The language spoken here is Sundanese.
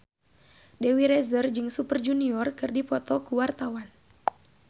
Dewi Rezer jeung Super Junior keur dipoto ku wartawan